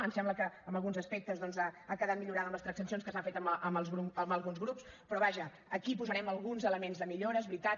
em sembla que en alguns aspectes doncs ha quedat millorada amb les transaccions que s’han fet amb alguns grups però vaja aquí hi posarem alguns elements de millora és veritat